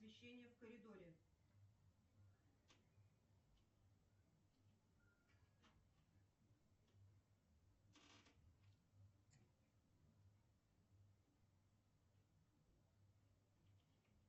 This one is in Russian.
освещение в коридоре